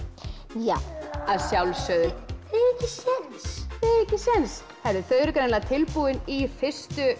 já að sjálfsögðu þið eigið ekki séns þau eru greinilega tilbúin í fyrstu